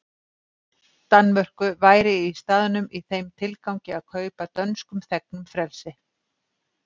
Danmörku væri í staðnum í þeim tilgangi að kaupa dönskum þegnum frelsi.